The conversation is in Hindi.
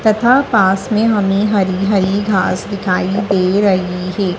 तथा पास में हमें हरी हरी घास दिखाई दे रही है।